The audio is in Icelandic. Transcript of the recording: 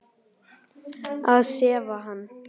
Að sefa hann.